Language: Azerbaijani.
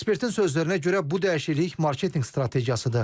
Ekspertin sözlərinə görə, bu dəyişiklik marketinq strategiyasıdır.